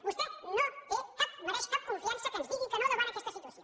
vostè no mereix cap confiança que ens digui que no davant aquesta situació